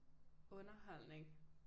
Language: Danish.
Underholdning